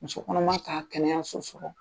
Musokɔnɔma ta ka kɛnɛya so sɔrɔ